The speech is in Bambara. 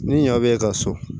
Ni ɲɔ bɛ ka so